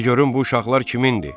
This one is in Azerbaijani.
De görüm bu uşaqlar kimindir?